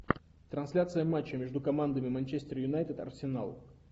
трансляция матча между командами манчестер юнайтед арсенал